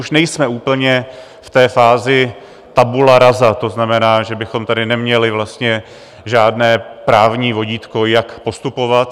Už nejsme úplně v té fázi tabula rasa, to znamená, že bychom tady neměli vlastně žádné právní vodítko, jak postupovat.